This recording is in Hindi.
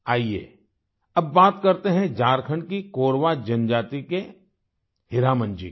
आइये अब बात करते हैं झारखण्ड की कोरवा जनजाति के हीरामन जी की